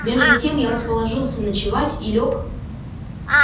между тем я расположился ночевать и лёг